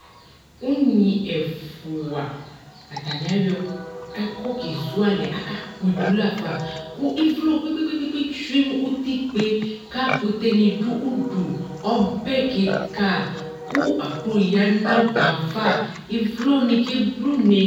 Unyi ɛfua atani ayɔ ɛkɔ kezu alɛ akakpɔ idu la fa ku ivlɔ kpekpekpe tsue nu utigbe ku akute ni du udu ɔbɛ kika ku aklo ya nu ɔbɛ ava Ivlɔni keblune